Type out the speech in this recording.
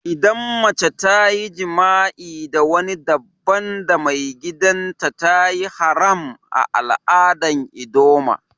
Idan mace ta yi jima'i da wani dabban da maigidan, ta yi haram a'aladan ldoma.